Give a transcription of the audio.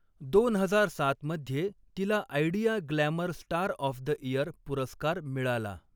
दोन हजार सात मध्ये तिला Idea glamour star of the year पुरस्कार मिळाला.